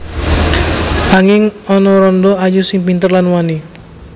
Anging ana randha ayu sing pinter lan wani